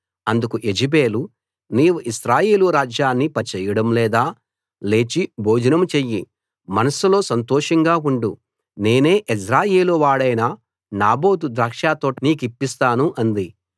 అందుకు యెజెబెలు నీవు ఇశ్రాయేలు రాజ్యాన్ని పరిపాలన చేయడం లేదా లేచి భోజనం చెయ్యి మనస్సులో సంతోషంగా ఉండు నేనే యెజ్రెయేలు వాడైన నాబోతు ద్రాక్షతోట నీకిప్పిస్తాను అంది